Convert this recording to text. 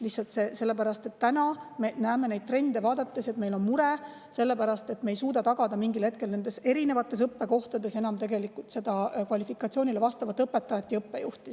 Lihtsalt selle pärast, mida me näeme trende vaadates, on meil mure, sest me ei suuda mingil hetkel tagada nendes erinevates õppekohtades enam kvalifikatsiooniga õpetajaid ja õppejuhti.